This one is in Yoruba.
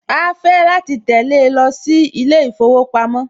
Á á fẹ́ láti tẹ̀le lọ sí ilé ìfowópamọ́